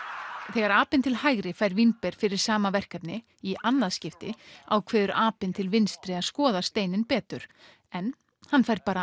þegar apinn til hægri fær vínber fyrir sama verkefni í annað skipti ákveður apinn til vinstri að skoða steininn betur en hann fær bara